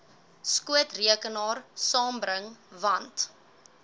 skootrekenaar saambring want